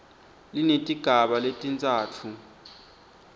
linetigaba letintsatfu a